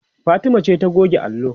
Fatima ce ta goge allo